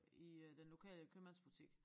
I øh den lokale købmandsbutik